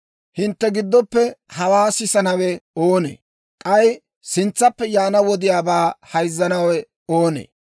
Hintte giddoppe hawaa sisanawe oonee? K'ay sintsaappe yaana wodiyaabaa hayzzanawe oonee?